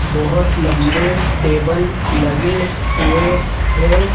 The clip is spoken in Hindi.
बहोत लंबे टेबल लगे हुए हैं।